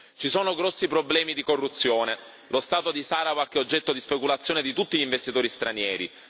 Ci sono grossi problemi di corruzione, lo Stato di Sarawak è oggetto di speculazione da parte di tutti gli investitori stranieri.